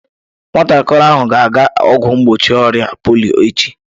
Nwatakịrị ahụ ga-aga ọgwụ mgbochi ọrịa polio echi